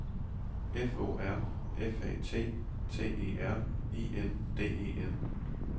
F O R F A T T E R I N D E N